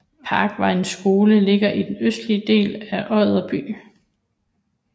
Parkvejens Skole ligger i den østlige del af Odder by